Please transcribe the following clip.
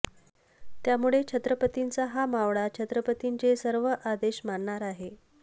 त्यामुळे छत्रपतींचा हा मावळा छत्रपतींचे सर्व आदेश मानणार आहे